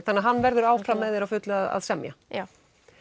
þannig hann verður áfram með þér á fullu að semja já